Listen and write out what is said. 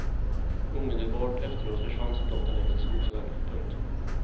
Omedelbart efteråt försvann soldaten längs en skogsväg. punkt